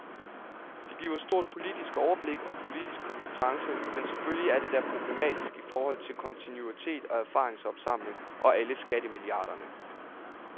Det giver stort politisk overblik og politisk kompetence, men selvfølgelig er det da problematisk i forhold til kontinuitet og erfaringsopsamling og alle skattemilliarderne.